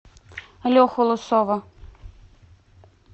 леху лысова